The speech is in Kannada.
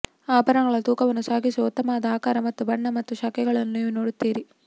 ಆಭರಣಗಳ ತೂಕವನ್ನು ಸಾಗಿಸುವ ಉತ್ತಮವಾದ ಆಕಾರ ಮತ್ತು ಬಣ್ಣ ಮತ್ತು ಶಾಖೆಗಳನ್ನು ನೀವು ನೋಡುತ್ತೀರಿ